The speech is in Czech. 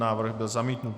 Návrh byl zamítnut.